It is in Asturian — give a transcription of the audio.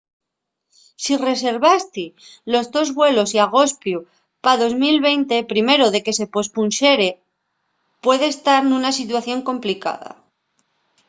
si reservasti los tos vuelos y agospiu pa 2020 primero de que se pospunxere puedes tar nuna situación complicada